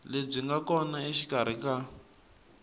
lebyi nga kona exikarhi ka